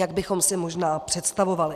... jak bychom si možná představovali.